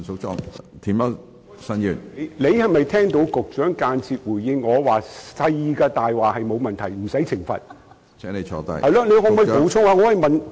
主席，你有否聽到局長間接回應，小的謊話沒有問題，不用懲罰？